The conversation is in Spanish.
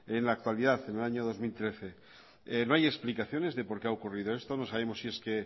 en la actualidad en el año dos mil trece no hay explicaciones de por qué ha ocurrido esto no sabemos si es que